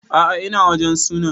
A'a ina wajen sunan